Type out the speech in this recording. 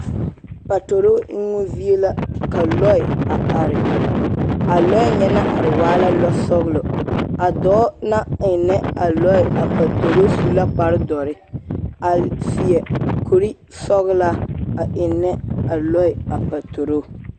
Patoroo eŋoo zie la ka lɔɛ a are a lɔɛ nyɛ naŋ are waa la lɔglo a dɔɔ la eŋnɛ a lɔɛ a patoroo su la kparre dɔre a seɛ kore sɔglaa a eŋnɛ a lɔɛ a patoroo.